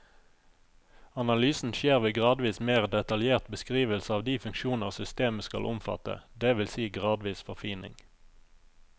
Analysen skjer ved gradvis mer detaljert beskrivelse av de funksjoner systemet skal omfatte, det vil si gradvis forfining.